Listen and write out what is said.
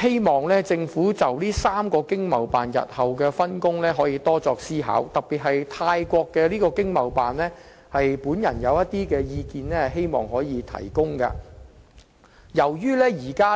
希望政府可以就這3個經貿辦日後的分工多作思考，特別是泰國經貿辦，就此我希望提供一些意見。